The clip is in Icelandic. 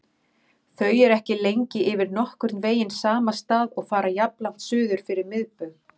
Þau eru ekki lengi yfir nokkurn veginn sama stað og fara jafnlangt suður fyrir miðbaug.